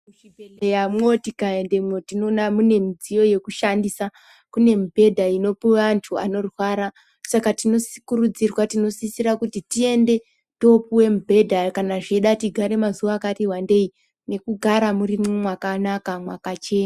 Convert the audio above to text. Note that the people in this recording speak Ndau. Muzvibhedhleramo tikaendemwo tinoone mune midziyo yokushandisa. Kune mibhedha inopuwe antu anorwara, saka tinokurudzirwa, tinosisira kuti tiende toopuwe mibhedha kana zveida tigare mazuva akatiwandei nekugara mwuri mwakanaka mwakachena.